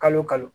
Kalo kalo